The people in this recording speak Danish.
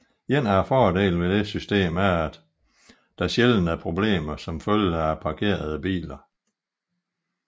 En af fordelene ved dette system er at der sjældent er problemer som følge af parkerede biler